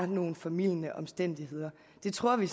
nogle formildende omstændigheder det tror vi